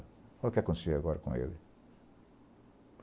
Olha o que aconteceu agora com ele.